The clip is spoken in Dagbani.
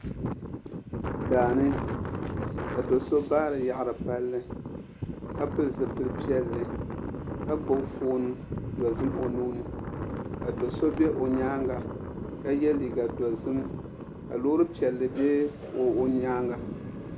Daani ka do so baari yaɣari palli ka pili zipili piɛlli ka gbubi foon dozim o nuu ni ka do so bɛ o nyaanga ka yɛ liiga dozim ka loori piɛlli bɛ o nyaanga